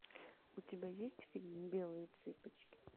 у тебя есть фильм белые цыпочки